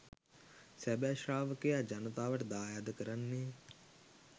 සැබෑ ශ්‍රාවකයා ජනතාවට දායාද කරන්නේ